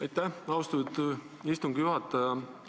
Aitäh, austatud istungi juhataja!